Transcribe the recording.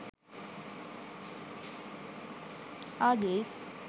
Aijth